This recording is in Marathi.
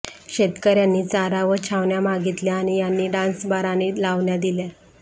शेतकर्यांनी चारा व छावण्या मागितल्या आणि यांनी डान्सबार आणि लावण्या दिल्या